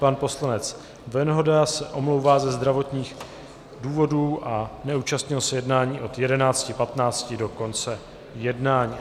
Pan poslanec Venhoda se omlouvá ze zdravotních důvodů a neúčastnil se jednání od 11.15 do konce jednání.